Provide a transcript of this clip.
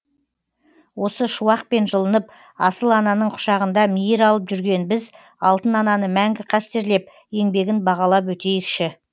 осы шуақпен жылынып асыл ананың құшағында мейір алып жүрген біз алтын ананы мәңгі қастерлеп еңбегін бағалап өтейікші